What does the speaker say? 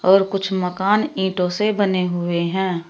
और कुछ मकान ईंटो से बने हुए हैं।